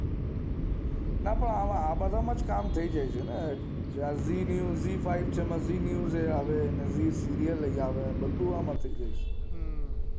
ના પણ આ બધા માંજ કામ થઇ જાય છેને zee five, zee news, serial પણ આવે બધું આમ થઇ જાય છે હમ્મ